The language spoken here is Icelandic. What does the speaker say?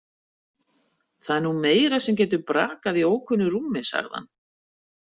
Það er nú meira sem getur brakað í ókunnu rúmi, sagði hann.